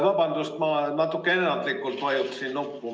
Vabandust, ma natuke ennatlikult vajutasin nuppu.